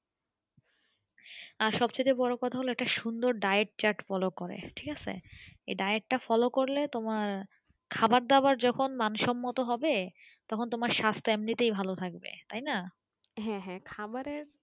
আর সব থেকে বোরো কথা হল একটা সুন্দর diet chart follow করে ঠিক আছে এই diet টা follow করলে তোমার খাবার দাবার যখন মানসম্মত হবে তখন তোমার সাস্থ এমনি তাই ভালো থাকবে তাইনা